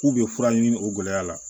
K'u bɛ fura ɲini o gɛlɛya la